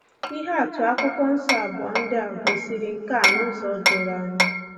Ihe atụ Akwụkwọ Nsọ abụọ ndị a gosiri nke a n'ụzọ doro anya